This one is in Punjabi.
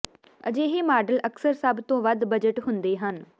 ਅਜਿਹੇ ਮਾਡਲ ਅਕਸਰ ਸਭ ਤੋਂ ਵੱਧ ਬਜਟ ਹੁੰਦੇ ਹਨ